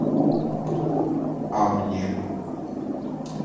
а мне